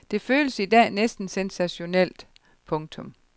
Det føles i dag næsten sensationelt. punktum